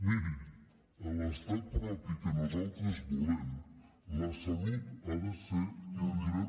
miri a l’estat propi que nosaltres volem la salut ha de ser un dret